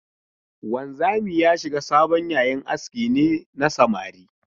Wanzami ya shiga sabon yayin aski ne na samari?